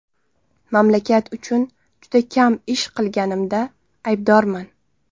Mamlakat uchun juda kam ish qilganimda aybdorman.